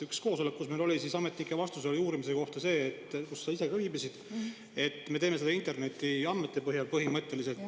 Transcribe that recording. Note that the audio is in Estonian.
Ühel koosolekul, kus sa ka ise viibisid, oli ametnike vastus uurimise kohta see, et seda tehakse põhimõtteliselt internetiandmete põhjal.